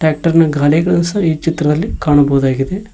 Tractor ನ ಗಾಲಿಗಳು ಸಹ ಈ ಚಿತ್ರದಲ್ಲಿ ಕಾಣಬಹುದಾಗಿದೆ.